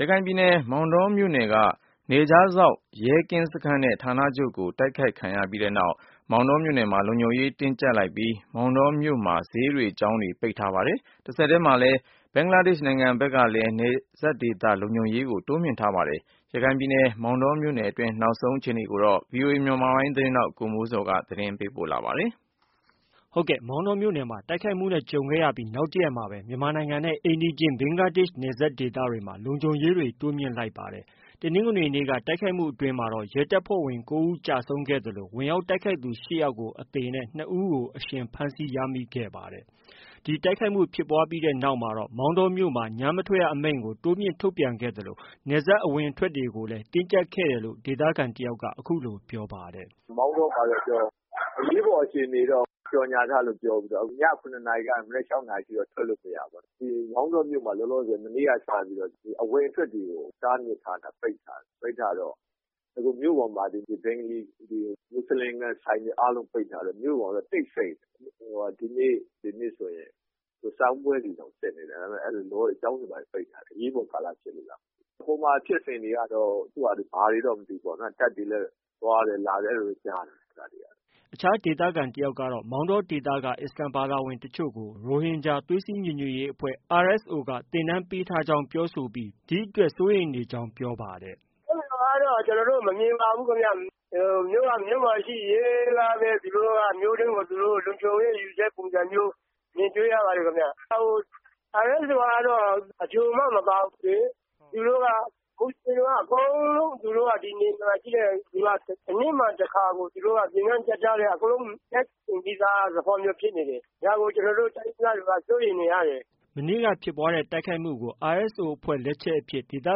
ရခိုင်ပြည်နယ် မောင်တောမြို့နယ်အတွင်းက နယ်ခြားစောင့်ရဲကင်းစခန်းနဲ့ ဌာနချုပ်ကို တိုက်ခိုက်ခံရပြီးနောက် မောင်းတော်မြို့မှာ လုံခြုံရေးကိုတင်းကျပ်လိုက်ပြီး မောင်တောမြို့မှာ ဈေးတွေကျောင်းတွေလည်း ပိတ်ထားပါတယ်။ တဆက်တည်းမှာလည်း ဘင်္ဂလားဒေ့ရှ်နိုင်ငံဖက်ကလည်း နယ်စပ်ဒေသလုံခြုံရေးကို တိုးမြှင်ထားပါတယ်။ ရခိုင်ပြည်နယ် မောင်တောမြို့နယ်အတွင်းက နောက်ဆုံးအခြေအနေကို ဗီအိုအေမြန်မာပိုင်းရဲ့သတင်းထောက်ကိုမိုးဇော်က တင်ပြထားပါတယ်။ မောင်တောမြို့နယ်မှာ တိုက်ခိုက်မှုနဲ့ ကြုံခဲ့ရပြီး နောက်တရက်မှာပဲ မြန်မာနိုင်ငံနဲ့ အိမ်နီးချင်း ဘင်္ဂလားနိုင်ငံ နယ်စပ်ဒေသတွေမှာ လုံခြုံရေးတွေ တိုးမြှင့်ထားလိုက်ပါတယ်။ တနင်္ဂနွေနေ့က တိုက်ခိုက်မှုအတွင်းမှာတော့ ရဲတပ်ဖွဲ့ဝင်၉ ဦးကျဆုံးခဲ့သလို ဝင်ရောက်တိုက်ခိုက်သူ ၈ယောက်ကို အသေနဲ့ ၂ဦးကို အရှင်ဖမ်းဆီးရမိခဲ့ပါတယ်။ ဒီတိုက်ခိုက်မှုဖြစ်ပွားပြီးနောက်မှာတော့ မောင်တောမြို့မှာ ညမထွက်ရအမိန့်ကို တိုးမြှင့်ထုတ်ပြန်ခဲ့သလို နယ်စပ်အဝင်အထွက်တွေကိုလည်း တင်းကျပ်ခဲ့တယ်လို့ ဒေသခံတယောက်က အခုလို ပြောပါတယ်။ “မောင်တောမှာ အခုအရေးပေါ်အခြေအနေတော့ကြေညာထား ပြီလို့ပြောပြီး ည ၇ နာရီကနေစပြီးတော့ မနက် ၆ နာရီအထိတော့ ထွက်လို့မရဘူး။ မောင်တောမြို့မှာ မနေ့ကစပြီးတော့ အဝင်အထွက်တွေကို တားမြစ်ထားတယ်၊ ပိတ်ထားတော့ အခုမြို့ပေါ်မှာ ဘင်္ဂလီဆိုင်တွေ၊ မူဆလင်ဆိုင်တွေအားလုံးပိတ်ထားတယ်၊ အခုမြို့ပေါ်မှာလည်း တိတ်ဆိတ်နေတယ်။ ဒီနေ့ဆိုရင် စာမေးပွဲတွေတောင်စစ်နေတာ ဒါပေမယ့်ကျောင်းတွေဘာတွေရောပိတ်ထားတယ်၊ အရေးပေါ်ကာလဖြစ်လို့ ။ ဟိုမှာ ဖြစ်စဉ်တွေတော့ ဘာတွေလည်းမသိဘူးပေါ့နော်။ သူ့ဟာသူတပ်တွေရော သွားတယ်၊ လာတယ် အဲဒီလိုတော့ ကြားတယ်။” အခြားဒေသခံတယောက်ကတော့ မောင်တောဒေသက အစ္စလာမ်ဘာသာဝင်တချို့ကို ရိုဟင်ဂျာ သွေးစည်း ညီညွတ်ရေးအဖွဲ့ အဖွဲ့က သင်တန်းပေးထားကြောင်း ပြောဆိုပြီး ဒီအတွက် စိုးရိမ်နေကြကြောင်း ပြောပါတယ်။ “အဲဒီလိုတော့ ကျနော်တို့မမြင်ပါဘူးခင်ဗျ။ မြို့က မြို့မှာရှိရင် ရဲက မြို့တွင်းကိုသူတို့လုံခြုံရေးယူတဲ့ပုံစံမျိုး မြင်တွေ့ရတယ်။ RSO ဆိုတာက ချိုမှ မပါတာ ။ ဒီလိုပါ မူဆလင်တွေက အကုန်လုံး ဒီရွာအနီးမှာတခါကိုက သင်တန်းပေးထားတာ။ ဒါကို ကျနော်တို့ ဒေသခံတွေ က စိုးရိမ်နေရတယ်။” မနေ့က ဖြစ်ပွားတဲ့တိုက်ခိုက်မှုကို RSO အဖွဲ့တွေ လက်ချက်အဖြစ် ဒေသ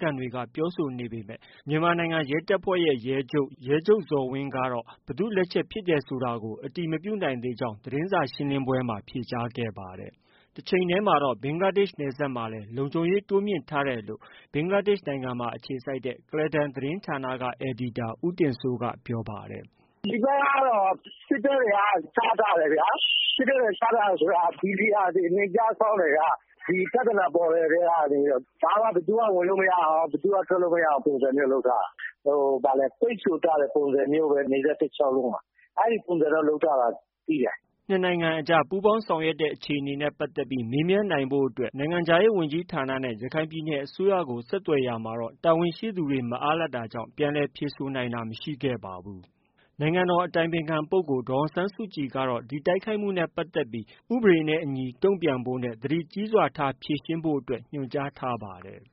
ခံတွေက ပြောဆိုနေပေမဲ့ မြန်မာနိုင်ငံရဲတပ်ဖွဲ့ ရဲချုပ် ရဲချုပ်ဇော်ဝင်းကတော့ ဘယ်သူလက်ချက်ဖြစ်တယ်ဆိုတာကို အတည်မပြုနိုင်သေးကြောင်း သတင်းစာရှင်းလင်းပွဲမှာဖြေကြားခဲ့ပါတယ်။ တချိန်တည်းမှာတော့ ဘင်္ဂလားဒေ့ရှ်နယ်စပ်မှာလည်း လုံခြုံရေးတိုးမြှင့်ထားတယ်လို့ ဘင်္ဂလားဒေ့ရှ်နိုင်ငံမှာ အခြေစိုက်တဲ့ ကုလားတန်သတင်းဌာန အယ်ဒီတာ ဦးတင်စိုးက ပြောပါတယ်။ “ဒီဘက်မှာတော့ စစ်တပ်တွေက ချထားတယ်ခင်ဗျ ။ စစ်တပ်တွေချထားတယ်ဆိုတာက ဒီနေရာ နယ်ခြားစောင့် တွေက ဒီပြဿနာပေါ်ကတည်းက ဘာမှ ၊ ဘယ်သူမှ ဝင်လို့မရအောင် ၊ ဘယ်သူမှ ထွက်လို့ မရအောင်ပုံစံမျိုးလုပ်ထားတာ။ ပိတ်ဆို့ထားတဲ့ပုံစံမျိုးပဲ ဒီဘက် တလျှောက်လုံးမှာ အဲဒီလို့ပုံစံမျိုးလုပ်ထားတာရှိတယ်။” နှစ်နိုင်ငံအကြားပူးပေါင်းဆောင်ရွက်နေတဲ့အခြေအနေနဲ့ပတ်သက်ပြီး နိုင်ငံခြားရေးဝန်ကြီးဌာနနဲ့ ရခိုင်ပြည်နယ်အစိုးရကို ဆက်သွယ်ရာမှာတော့ တာဝန်ရှိသူတွေမအားလပ်တာကြောင့် ပြန်လည်ဖြေဆိုတာမရှိပါဘူး။ နိုင်ငံတော်အတိုင်ပင်ခံပုဂ္ဂိုလ်ဒေါ်အောင်ဆန်းစုကြည်ကတော့ ဒီတိုက်ခိုက်မှုနဲ့ပတ်သက်ပြီး ဥပဒေနဲ့အညီတုံပြန်ဖို့နဲ့ သတိကြီးစွာထားဖြေရှင်းဖို့ ညွှန်ကြားထားပါတယ်။